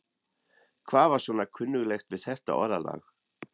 Hvað var svona kunnuglegt við þetta orðalag?